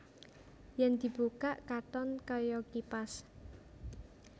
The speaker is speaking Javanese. Yèn dibukak katon kaya kipas